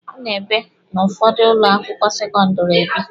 A na-ebe n'ụfọdụ ụlọ akwụkwọ sekọndịrị ebi.